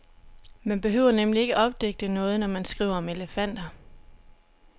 Man behøver nemlig ikke opdigte noget, når man skriver om elefanter.